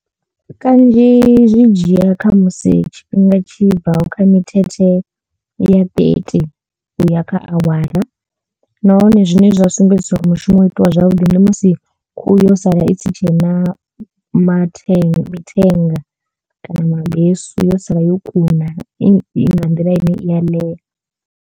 Kanzhi zwi dzhia kha musi tshifhinga tshi bvaho kha mithethe ya thirty uya kha awara nahone zwine zwa sumbedzisa uri mushumo wo itiwa zwavhuḓi ndi musi khuhu yo sala i si tshena mathenga mithenga kana mabesu yo sala yo kuna i nga nḓila ine i ya ḽea.